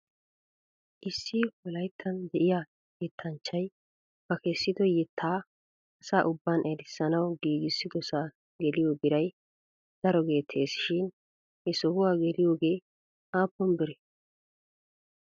Issi wolayttan de'iyaa yettanchchay ba kessido yettaa asa ubban erissanaw giigissidosaa geliyoo biray daro geettes shin he sohuwaa geliyoogee aappun biree?